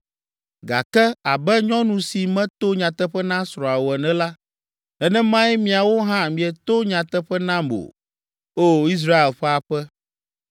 Gake, abe nyɔnu si meto nyateƒe na srɔ̃a o ene la, nenemae miawo hã mieto nyateƒe nam o, O Israel ƒe aƒe.”